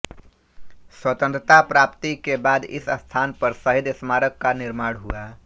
स्वतन्त्रता प्राप्ति के बाद इस स्थान पर शहीद स्मारक का निर्माण हुआ